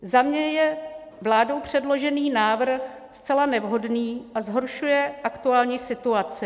Za mě je vládou předložený návrh zcela nevhodný a zhoršuje aktuální situaci.